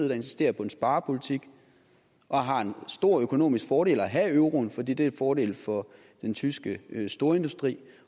der insisterer på en sparepolitik og har en stor økonomisk fordel at have euroen fordi det en fordel for den tyske storindustri